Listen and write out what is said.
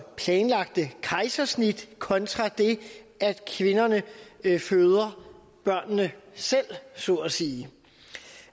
planlagt kejsersnit kontra det at kvinderne føder børnene selv så at sige